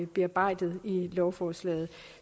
bearbejdet i lovforslaget